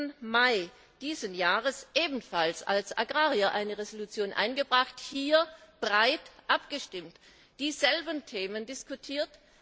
12. Mai dieses Jahres ebenfalls als Agrarier eine Entschließung eingebracht, hier breit abgestimmt, dieselben Themen diskutiert.